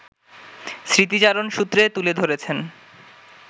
স্মৃতিচারণসূত্রে তুলে ধরেছেন